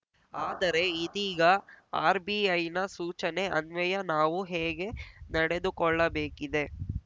ಆದರೆ ಇದೀಗ ಆರ್‌ಬಿಐನ ಸೂಚನೆ ಅನ್ವಯ ನಾವು ಹೇಗೆ ನಡೆದುಕೊಳ್ಳಬೇಕಿದೆ